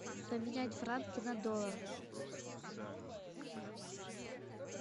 поменять франки на доллар